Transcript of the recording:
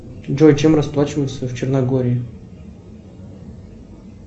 джой чем расплачиваются в черногории